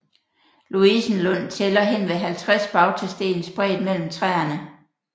Louisenlund tæller henved 50 bautasten spredt mellem træerne